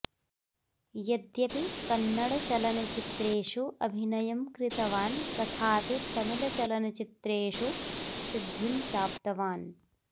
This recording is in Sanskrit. यद्यपि कन्नडचलनचित्रेषु अभिनयं कृतवान् तथापि तमिळ् चलनचित्रेषु सिद्धिं प्राप्तवान्